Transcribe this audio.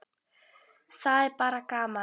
Það er bara gaman